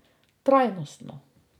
Trajnostno.